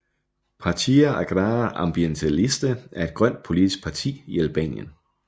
Partia Agrare Ambientaliste er et Grønt politisk parti i Albanien